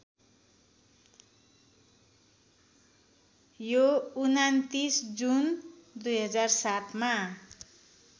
यो २९ जुन २००७ मा